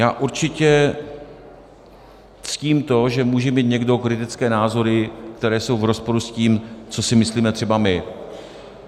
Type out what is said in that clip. Já určitě ctím to, že může mít někdo kritické názory, které jsou v rozporu s tím, co si myslíme třeba my.